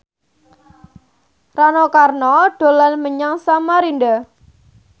Rano Karno dolan menyang Samarinda